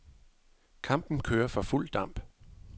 Kampen kører for fuld damp.